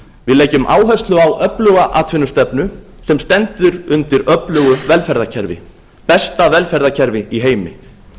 við leggjum áherslu á öfluga atvinnustefnu sem stendur undir öflugu velferðarkerfi besta velferðarkerfi í heimi